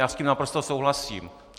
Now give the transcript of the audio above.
Já s tím naprosto souhlasím.